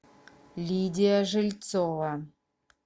лидия жильцова